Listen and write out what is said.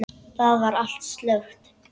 Þar var allt slökkt.